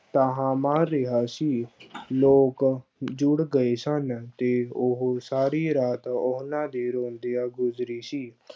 ਧਾਹਾਂ ਮਾਰ ਰਿਹਾ ਸੀ ਲੋਕ ਜੁੜ ਗਏ ਸਨ, ਤੇ ਉਹ ਸਾਰੀ ਰਾਤ ਉਹਨਾਂ ਦੀ ਰੋਂਦਿਆਂ ਗੁਜ਼ਰੀ ਸੀ।